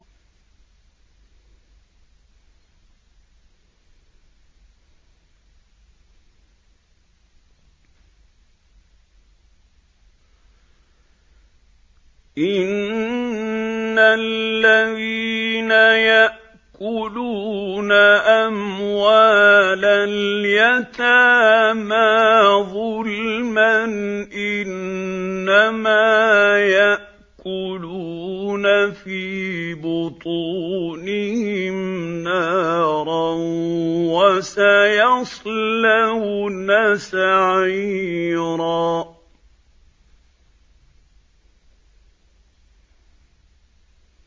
إِنَّ الَّذِينَ يَأْكُلُونَ أَمْوَالَ الْيَتَامَىٰ ظُلْمًا إِنَّمَا يَأْكُلُونَ فِي بُطُونِهِمْ نَارًا ۖ وَسَيَصْلَوْنَ سَعِيرًا